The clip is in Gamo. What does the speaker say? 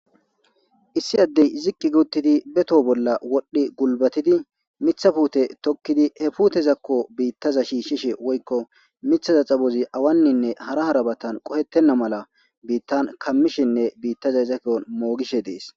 issi addey ziqqi gi uttidi be toho bolla wodhdhi gulbatidi mitha puute tokkidi he puutezakko biittaza shiishshishe woykko mithaza xabozi awanninne hara harabatan qohettenna mala biittan kammishinne biittazaza ki'on moogishe dees